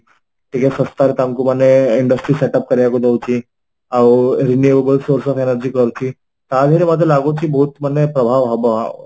ଟିକେ ଶସ୍ତାରେ ତାଙ୍କୁ ମାନେ industry setup କରିବାକୁ ଦଉଚି ଆଉ renewable source of energy କରୁଛି ତା ଦିହରେ ମତେ ଲାଗୁଚି ବହୁତ ମାନେ ପ୍ରଭାବ ହବ